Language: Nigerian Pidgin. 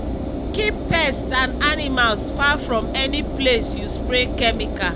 keep pets and animals far from any place you spray chemical.